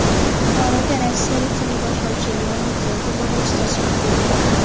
Buxoroga rossiyalik teleboshlovchi Leonid Yakubovich tashrif buyurdi.